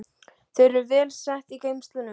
Þau eru vel sett í geymslunum.